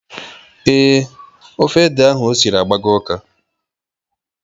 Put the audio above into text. Ee, Ofe ede ahụ osiri agbago ụka.